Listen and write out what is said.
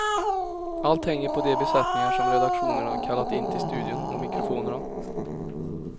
Allt hänger på de besättningar som redaktionerna kallat in till studion och mikrofonerna.